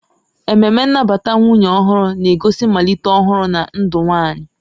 Ememe nnabata nwunye ọhụrụ na-egosi mmalite ọhụrụ na ndụ nwanyị